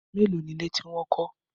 Mélòó ni ilé tí wọ́n kọ́?